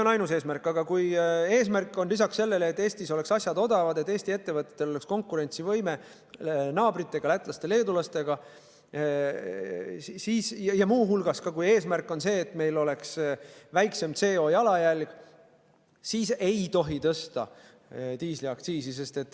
Aga kui eesmärk on lisaks sellele, et Eestis oleks asjad odavad, et Eesti ettevõtetel oleks võime naabritega, lätlaste-leedulastega konkureerida, ja kui eesmärk on ka see, et meil oleks väiksem CO2 jalajälg, siis ei tohi tõsta diisliaktsiisi.